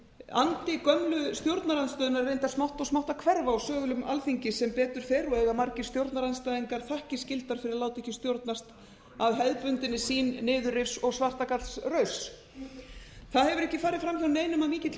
andi gömlu stjórnarandstöðunnar er reyndar smátt og smátt að hverfa úr sölum alþingis sem betur fer eiga margir stjórnarandstæðingar þakkir skyldar fyrir að láta ekki stjórnast af hefðbundinni sýn niðurrifs og svartagallsrauss það hefur ekki farið fram hjá neinum að mikill